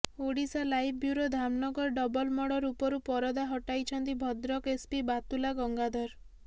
Odisha live bureau Dhamnagar double murder ଉପରୁ ପରଦା ହଟାଇଛନ୍ତି ଭଦ୍ରକ ଏସ୍ପି ବାତ୍ତୁଲା ଗଙ୍ଗାଧର